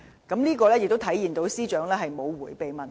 這亦顯示司長沒有迴避問題。